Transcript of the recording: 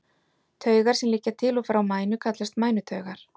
Taugar sem liggja til og frá mænu kallast mænutaugar.